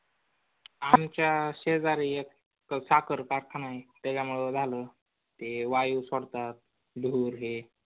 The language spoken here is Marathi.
आमच्या शेजारी एक साखर कारखाना आहे त्याच्यामुळे झाल. ते वायू सोडतात धूर हे